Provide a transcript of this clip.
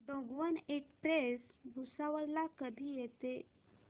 Gondwana express Bhusawal ला कधी येते